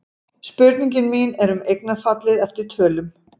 Spurningin mín er um eignarfallið eftir tölum.